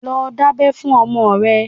Lọ dábẹ́ fún ọmọ rẹ!